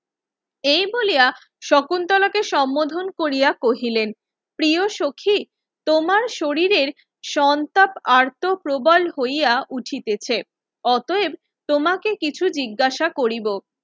এই বলিয়া শুকন্তলাকে সম্মোধন কোরিয়া কহিলেন প্রিয় সখি তোমার শরীরের সন্তাপ আর্ত প্রবল হইয়া উঠিতেছে অতঃএব তোমাকে কিছু জিজ্ঞাসা কৰিব